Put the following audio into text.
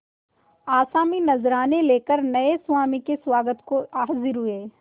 आसामी नजराने लेकर नये स्वामी के स्वागत को हाजिर हुए